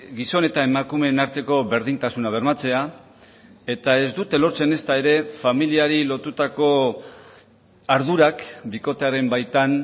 gizon eta emakumeen arteko berdintasuna bermatzea eta ez dute lortzen ezta ere familiari lotutako ardurak bikotearen baitan